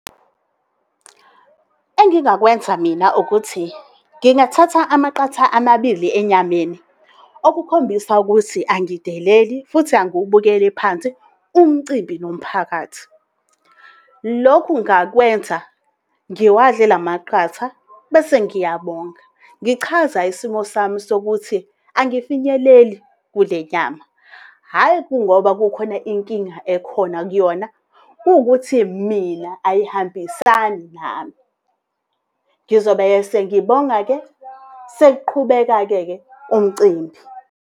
Engingakwenza mina ukuthi ngingathatha amaqatha amabili enyameni okukhombisa ukuthi angideleli futhi angiwubukeli phansi umcimbi nomphakathi. Lokhu ngingakwenza ngiwadle la maqatha bese ngiyabonga, ngichaza isimo sami sokuthi angafinyeleli kule nyama hhayi kungoba kukhona inkinga ekhona kuyona kuwukuthi mina ayihambisani nami, Ngizobe-ke sengibonga-ke sekuqhubeka-ke umcimbi.